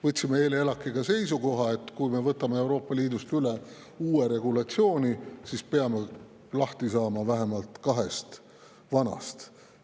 Võtsime eile ELAK‑iga ka seisukoha, et kui me võtame Euroopa Liidust üle ühe uue regulatsiooni, siis peame lahti saama vähemalt kahest vanast.